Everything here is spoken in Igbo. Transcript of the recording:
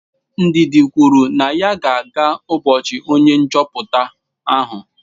Ndidi kwuru na ya ga-aga ubochi onye nchoputa ahụ.